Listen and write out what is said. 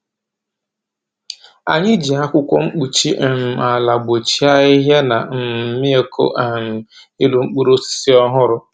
Anyị ji akwụkwọ mkpuchi um ala gbochie ahịhịa na um mmịkụ um iru mkpụrụ osisi ọhụrụ.